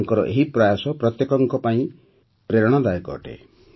ତାଙ୍କର ଏହି ପ୍ରୟାସ ପ୍ରତ୍ୟେକଙ୍କ ପାଇଁ ପ୍ରେରଣାଦାୟକ ଅଟେ